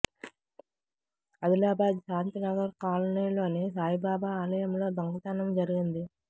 ఆదిలాబాద్ శాంతి నగర్ కాలనీలోని సాయిబాబా ఆలయంలో దొంగతనం జరిగింది